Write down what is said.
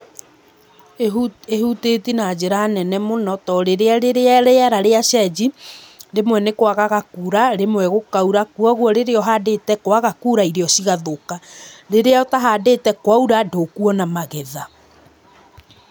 Ĩhu ĩhutĩtie na njĩra nene mũno to rĩ rĩrĩa rĩera rĩacenji, rĩmwe nĩkwaga kura, rĩmwe gũkaura, koguo rĩrĩa ũhandĩte kwaga kura irio cigathũka, rĩrĩa ũtahandĩte, kwaura ndũkuona magetha.